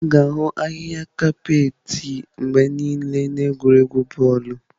A ga-ahụ ahịhịa kapeeti mgbe niile n'egwuregwu bọọlụ.